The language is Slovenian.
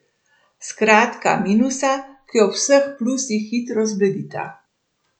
Skratka, minusa, ki ob vseh plusih hitro zbledita.